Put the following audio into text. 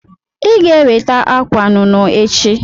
Iga eweta akwa nụnụ echi.